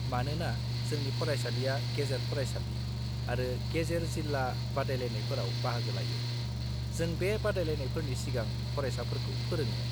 मानोना जोंनि फरायसालिआ गेजेर-फरायसालि आरो गेजेर-जिल्ला बादायलायनायफोराव बाहागो लायो, जों बे बादायलायनायफोरनि सिगां फरायसाफोरखौ फोरोङो।